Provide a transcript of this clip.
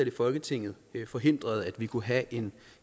i folketinget forhindrede at vi kunne have en